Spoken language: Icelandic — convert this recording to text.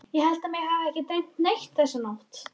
Ég held að mig hafi ekki dreymt neitt þessa nótt.